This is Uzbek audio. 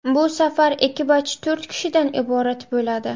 Bu safar ekipaj to‘rt kishidan iborat bo‘ladi.